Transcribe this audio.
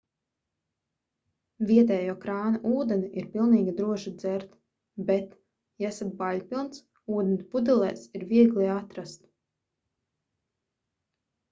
vietējo krāna ūdeni ir pilnīgi droši dzert bet ja esat baiļpilns ūdeni pudelēs ir viegli atrast